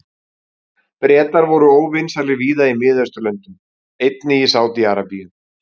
Bretar voru óvinsælir víða í Mið-Austurlöndum, einnig í Sádi-Arabíu.